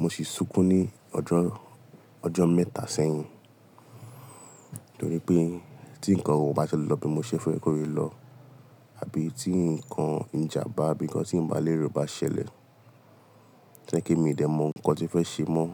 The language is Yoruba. Mo ṣì sunkún ní ọjọ́, ọjọ́ mẹ́ta sẹ́yìn, torí pé tí nǹkan rárá bá ṣẹlẹ̀ lọ bí mo ṣe fẹ́ kó rí lọ àbí tí nǹkan ìjàmbá, abi nǹkan tí ń ba lérò bá ṣẹlẹ̀, to ẹ́ pe mii dè mọ nǹkan tí n fẹ́ ṣe mọ́,